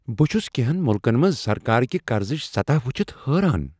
بہٕ چھس کٮ۪نٛہن ملکن منٛز سرکاركہِ قرضٕچ سطح وُچھتھ حٲران ۔